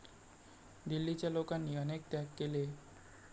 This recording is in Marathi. दिल्लीच्या लोकांनी अनेक त्याग केले.